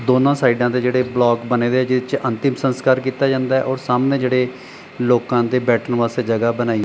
ਦੋਨਾਂ ਸਾਈਡਾਂ ਦੇ ਜਿਹੜੇ ਬਲੋਕ ਬਣੇ ਦੇ ਜਿਹਦੇ ਚ ਅੰਤਿਮ ਸੰਸਕਾਰ ਕੀਤਾ ਜਾਂਦਾ ਔਰ ਸਾਹਮਣੇ ਜਿਹੜੇ ਲੋਕਾਂ ਦੇ ਬੈਠਣ ਵਾਸਤੇ ਜਗ੍ਹਾ ਬਣਾਈ --